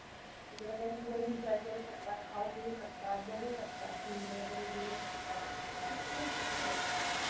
तिकडं काय मुलं enjoy करू शकतात. खाऊ-पिऊ शकतात. बघू शकतात. खेळणी वगैरे घेऊ शकतात. असं भरपूर काही असतं.